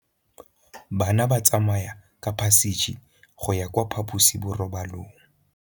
Bana ba tsamaya ka phašitshe go ya kwa phaposiborobalong.